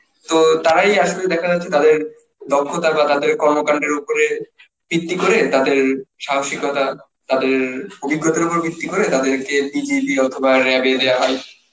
তো তারাই আসলে দেখা যাচ্ছে তাদের দক্ষতা বা তাদের কর্মকাণ্ডের উপরে ভিত্তি করে তাদের সাহসিকতা তাদের অভিজ্ঞতার উপর ভিত্তি করে তাদেরকে BGP অথবা RAB এ দেওয়া হয়